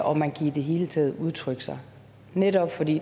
og man kan i det hele taget udtrykke sig netop fordi